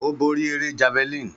Ó borí eré javelin.